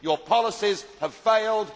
Your policies have failed.